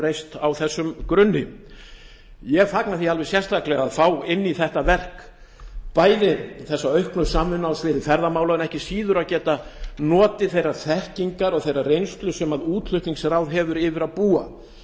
reist á þessum grunni ég fagna því alveg sérstaklega að fá inn í þetta verk bæði þessa auknu samvinnu á sviði ferðamála en ekki síður að geta notið þeirrar þekkingar og þeirrar reynslu sem útflutningsráð býr yfir